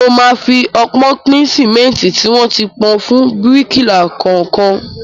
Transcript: Mo máa fi ọpọ́n pín sìmẹ́ntì tí wọ́n ti pò fún bíríkìlà kọ̀ọ̀kan.